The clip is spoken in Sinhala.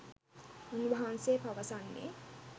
උන් වහන්සේ පවසන්නේ